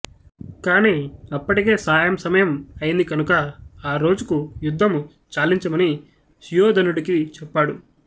కాని అప్పటికే సాయం సమయం అయింది కనుక ఆ రోజుకు యుద్ధము చాలించమని సుయోధనుడికి చెప్పాడు